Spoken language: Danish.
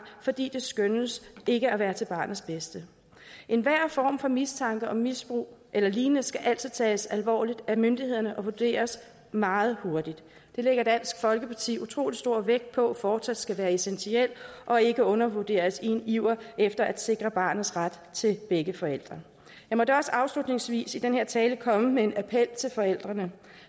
fordi det skønnes ikke at være til barnets bedste enhver mistanke om misbrug eller lignende skal altid tages alvorligt af myndighederne og vurderes meget hurtigt det lægger dansk folkeparti utrolig stor vægt på fortsat skal være essentielt og ikke undervurderes i iveren efter at sikre barnets ret til begge forældre jeg må da også afslutningsvis i den her tale komme med en appel til forældrene